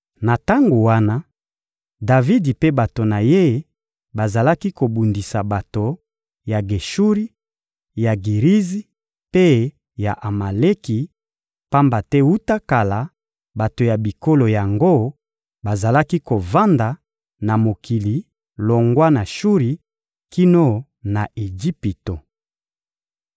Na tango wana, Davidi mpe bato na ye bazalaki kobundisa bato ya Geshuri, ya Girizi mpe ya Amaleki; pamba te wuta kala, bato ya bikolo yango bazalaki kovanda na mokili longwa na Shuri kino na Ejipito.